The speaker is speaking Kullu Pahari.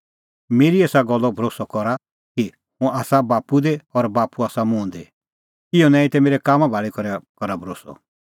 मेरी एसा गल्लो भरोस्सअ करा कि हुंह आसा बाप्पू दी और बाप्पू आसा मुंह दी इहअ नांईं ता मेरै कामां भाल़ी करा भरोस्सअ